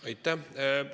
Aitäh!